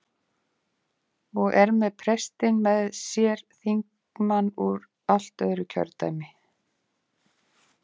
Og er með prestinn með sér- þingmann úr allt öðru kjördæmi!